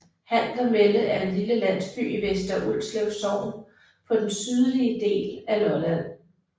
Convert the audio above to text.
Handermelle er en lille landsby i Vester Ulslev Sogn på den sydlige del af Lolland